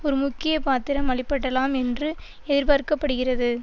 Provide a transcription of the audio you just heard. ஒரு முக்கிய பாத்திரம் அளிப்படலாம் என்று ஏர்பார்க்கப்படுகிறது